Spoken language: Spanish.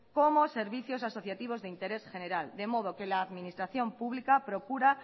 como servicios asociativos de interés general de modo que la administración pública